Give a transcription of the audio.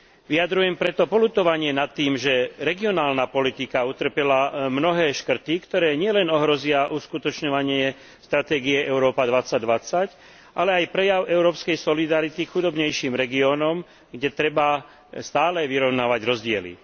Vyjadrujem preto poľutovanie nad tým, že regionálna politika utrpela mnohé škrty, ktoré nielen ohrozia uskutočňovanie stratégie Európa 2020, ale aj prejav európskej solidarity k chudobnejším regiónom, kde treba stále vyrovnávať rozdiely.